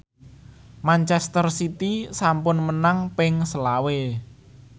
manchester city sampun menang ping selawe